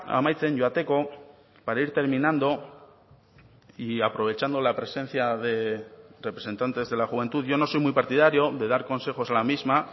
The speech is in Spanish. amaitzen joateko para ir terminando y aprovechando la presencia de representantes de la juventud yo no soy muy partidario de dar consejos la misma